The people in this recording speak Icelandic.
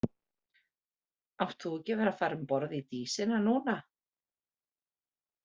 Átt þú ekki að vera að fara um borð í Dísina núna?